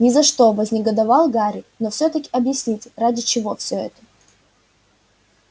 ни за что вознегодовал гарри но всё таки объясните ради чего всё это